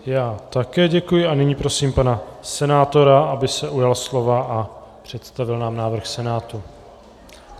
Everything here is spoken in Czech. Já také děkuji a nyní prosím pana senátora, aby se ujal slova a představil nám návrh Senátu.